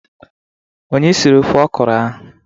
Onye siri ofe ọkụrụ ahụ?